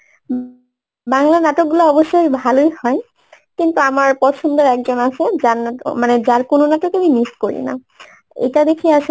বাংলা নাটকগুলো অবশ্যই ভালোই হয় কিন্তু আমার পছন্দের একজন আছে যার না~ মানে যার কোনো নাটক আমি miss করি না এটা দেখি